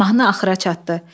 Mahnı axıra çatdı.